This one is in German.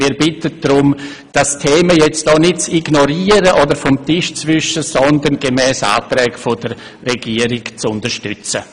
Wir bitten Sie, das Thema hier nicht zu ignorieren oder vom Tisch zu wischen, sondern gemäss den Anträgen der Regierung zu unterstützen.